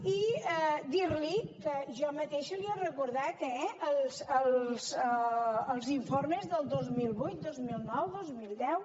i dir li que jo mateixa li he recordat eh els informes del dos mil vuit dos mil nou dos mil deu